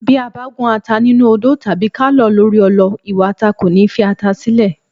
Bí a bá gún ata nínú odó tàbí ká lọ̀ ọ́ lórí ọlọ ìwà ata kò ní fi ata sílẹ̀.